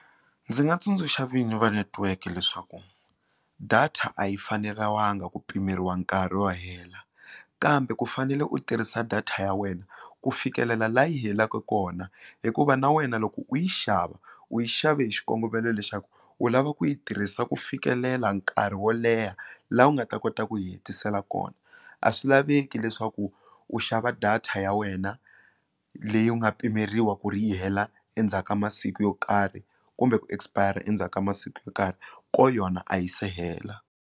Ndzi nga tsundzuxa vinyi va netiweke leswaku data a yi faneriwanga ku pimeriwa nkarhi wo hela kambe ku fanele u tirhisa data ya wena ku fikelela laha yi helaka kona hikuva na wena loko u yi xava u yi xave hi xikongomelo lexa ku u lava ku yi tirhisa ku fikelela nkarhi wo leha laha u nga ta kota ku yi hetisela kona a swi laveki leswaku u xava data ya wena leyi u nga pimeriwa ku ri yi hela endzhaku ka masiku yo karhi kumbe ku expire endzhaku ka masiku yo karhi ko yona a yi se hela.